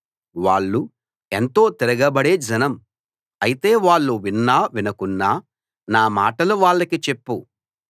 వాళ్ళు ఎంతో తిరగబడే జనం అయితే వాళ్ళు విన్నా వినకున్నా నా మాటలు వాళ్లకి చెప్పు